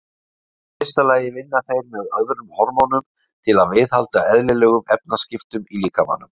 Í fyrsta lagi vinna þeir með öðrum hormónum til að viðhalda eðlilegum efnaskiptum í líkamanum.